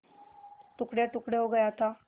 टुकड़ेटुकड़े हो गया था